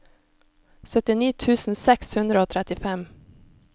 syttini tusen seks hundre og trettifem